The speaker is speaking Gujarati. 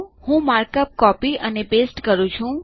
હું માર્કઅપ કોપી અને પેસ્ટ કરું છું